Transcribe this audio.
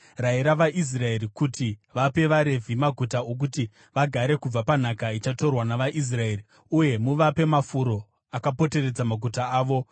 “Rayira vaIsraeri kuti vape vaRevhi maguta okuti vagare kubva panhaka ichatorwa navaIsraeri. Uye muvape mafuro akapoteredza maguta avo.